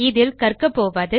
இதில் கற்க போவது